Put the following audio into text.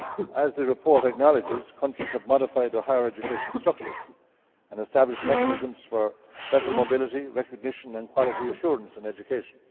As the report acknowledges, countries have modified their higher education structures and established mechanisms for better mobility, recognition and quality assurance in education.